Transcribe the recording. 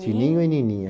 Tininho e Nininha.